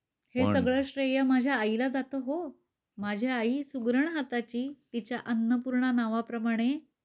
हे सगळं श्रेय माझ्या आईला जात हो. माझी आई सुगरण हाताची. तिच्या अन्नपूर्णा नावा प्रमाणे